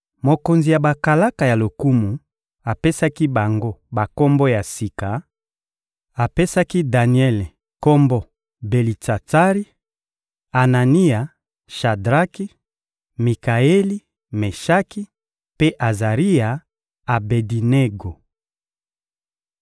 Mokonzi ya bakalaka ya lokumu apesaki bango bakombo ya sika; apesaki Daniele kombo Belitsatsari; Anania, Shadraki; Mikaeli, Meshaki; mpe Azaria, Abedinego.